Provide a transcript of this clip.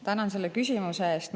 Tänan selle küsimuse eest!